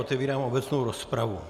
Otevírám obecnou rozpravu.